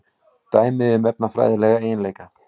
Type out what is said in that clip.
Dæmi um efnafræðilega eiginleika.